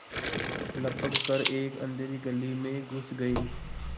लपक कर एक अँधेरी गली में घुस गये